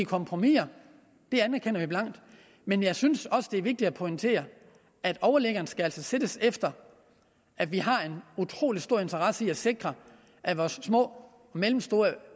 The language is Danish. kompromiser det erkender vi blankt men jeg synes også det er vigtigt at pointere at overliggeren altså skal sættes efter at vi har en utrolig stor interesse i at sikre at vores små og mellemstore